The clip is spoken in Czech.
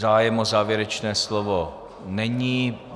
Zájem o závěrečné slovo není.